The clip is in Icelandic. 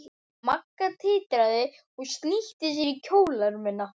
Magga titraði og snýtti sér í kjólermina.